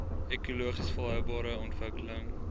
ekologies volhoubare ontwikkeling